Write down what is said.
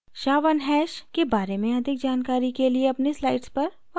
sha1 hash के बारे में अधिक जानकारी के लिए अपनी slides पर वापस जाते हैं